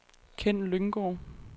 Kenn Lynggaard